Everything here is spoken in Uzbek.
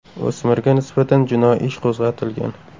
O‘smirga nisbatan jinoiy ish qo‘zg‘atilgan.